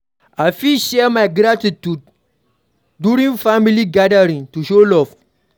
I fit share my gratitude during family gathering to show love.